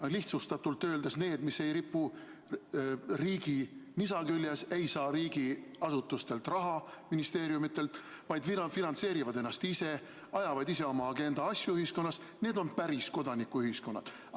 Aga lihtsustatult öeldes need, mis ei ripu riigi nisa küljes, ei saa riigiasutustelt raha, ministeeriumidelt, vaid finantseerivad ennast ise, ajavad ise oma agenda asju ühiskonnas, need on päris kodanikuühiskonna organisatsioonid.